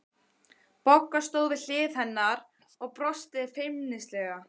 Bogga stóð við hlið hennar og brosti feimnislega.